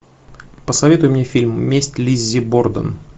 посоветуй мне фильм месть лиззи борден